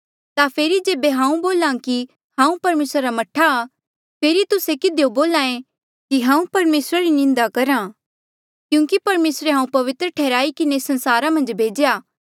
ता फेरी जेबे हांऊँ बोल्हा कि हांऊँ परमेसरा रा मह्ठा आ फेरी तुस्से किधियो बोल्हा ऐें कि हांऊँ परमेसरा री निंदा करहा क्यूंकि परमेसरे हांऊँ पवित्र ठैहराई किन्हें संसारा मन्झ भेज्या